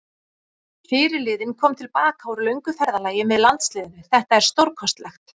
Fyrirliðinn kom til baka úr löngu ferðalagi með landsliðinu, þetta er stórkostlegt.